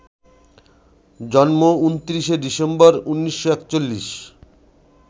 জন্ম ২৯শে ডিসেম্বর, ১৯৪১